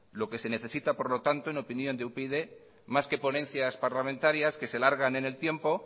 lo que se necesita en opinión de upyd más que ponencias parlamentarias que se alargan en el tiempo